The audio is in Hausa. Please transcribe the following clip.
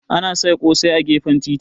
Ana sai ƙosai a gefen titi.